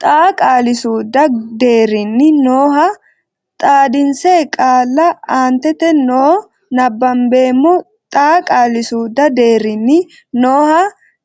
xaa qaali suudu deerrinni nooha xaadinse qaalla aantete noo nabbambeemmo xaa qaali suudu deerrinni nooha